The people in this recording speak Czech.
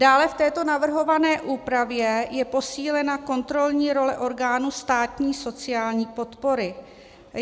Dále v této navrhované úpravě je posílena kontrolní role orgánů státní sociální podpory.